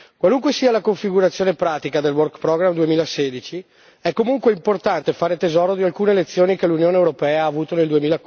Qualunque sia la configurazione pratica del Work Programme 2016, è comunque importante fare tesoro di alcune lezioni che l'Unione europea ha avuto nel